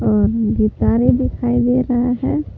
और गिटारे दिखाई दे रहा है।